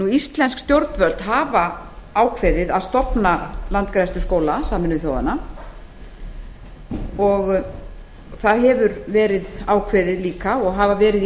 íslensk stjórnvöld hafa ákveðið að stofna landgræðsluskóla sameinuðu þjóðanna og það hefur verið ákveðið líka og hafa verið